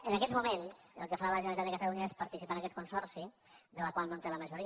en aquests moments el que fa la generalitat de catalunya és participar en aquest consorci del qual no té la majoria